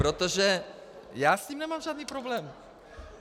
Protože já s ním nemám žádný problém.